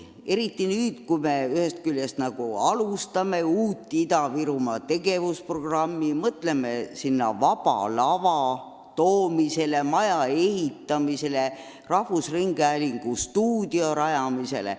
Nüüd me nagu käivitame uue Ida-Virumaa tegevusprogrammi, mõtleme seal Vaba Lava teatrikeskuse loomisele, maja ehitamisele, rahvusringhäälingu stuudio rajamisele.